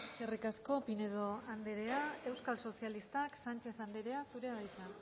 eskerrik asko pinedo andrea euskal sozialistak sánchez andrea zurea da hitza